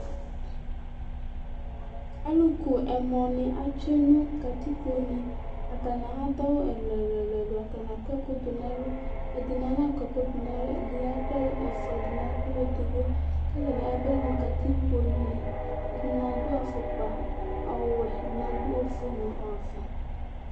Alʋ ku ɛmɔ nɩ atsue nʋ kǝtikpo ne Atanɩ adʋ awʋ ɛlʋɛlʋ,,atanɩ akɔ ɛkʋ dʋ n' ɛlʋ, ɛdɩnɩ ana kɔ ɛkʋ dʋ n' ɛlʋ, ɛdɩnɩ akpa ɛlʋ ɛfʋa, ɛdɩnɩ akpa ɛlʋ edigbo